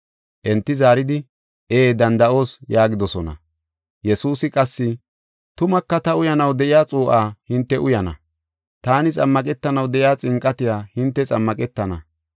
Enti zaaridi, “Ee danda7oos” yaagidosona. Yesuusi qassi, “Tumaka ta uyanaw de7iya xuu7aa hinte uyana, taani xammaqetanaw de7iya xinqatiya hinte xammaqetana.